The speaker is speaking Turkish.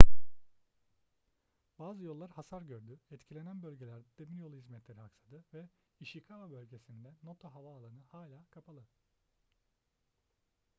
bazı yollar hasar gördü etkilenen bölgelerde demiryolu hizmetleri aksadı ve ishikawa bölgesindeki noto havaalanı hâlâ kapalı